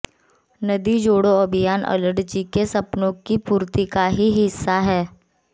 नदी जोड़ो अभियान अटल जी के सपनों की पूर्ति का ही हिस्सा है